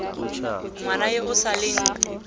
ngwana yo o sa leng